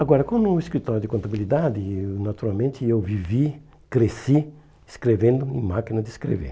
Agora, como um escritório de contabilidade, naturalmente, eu vivi, cresci, escrevendo em máquina de escrever.